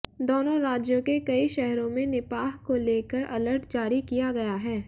दोनों राज्यों के कई शहरों में निपाह को लेकर अलर्ट जारी किया गया है